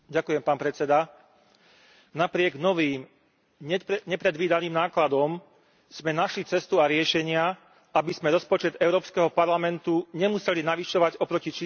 napriek novým, nepredvídaným nákladom sme našli cestu a riešenia, aby sme rozpočet Európskeho parlamentu nemuseli navyšovať oproti číslam, ktoré sme odsúhlasili na jar.